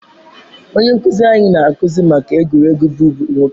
Onye nkuzi anyị na-akụzi maka egwuregwu bụbu nwoke.